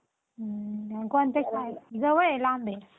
हुं कोणत्या शाळेत जवळ आहे लांब आहे?